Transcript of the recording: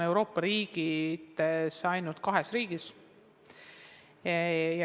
Euroopas on see ainult kahes riigis.